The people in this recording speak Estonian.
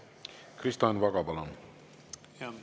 Kristo Enn Vaga, palun!